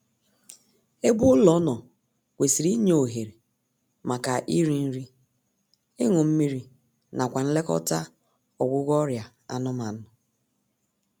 Ebe ụlọ nọ kwesịrị inye ohere maka iri nri, ịñụ mmiri nakwa nlekọta ọịgwụgwọ ọrịa anụmanụ